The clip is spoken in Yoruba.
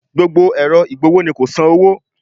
Gbogbo ẹ̀rọ ìgbọ̀wọ́ ni kò san owó